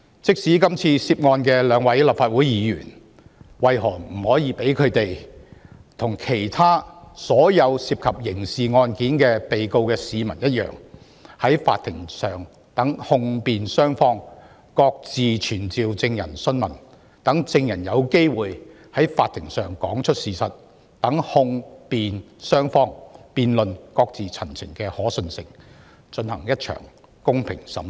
即使今次涉案的兩位人士是立法會議員，為何他們就不應與所有涉及刑事案件的市民一樣，讓控辯雙方各自傳召證人訊問，讓證人有機會在法庭上講出事實，讓控辯雙方辯論，各自陳情，進行公平審訊？